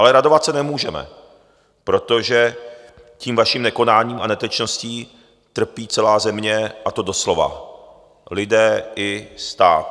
Ale radovat se nemůžeme, protože tím vaším nekonáním a netečností trpí celá země, a to doslova, lidé i stát.